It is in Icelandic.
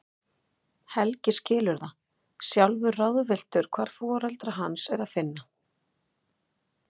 Helgi skilur það, sjálfur ráðvilltur hvar foreldra hans er að finna.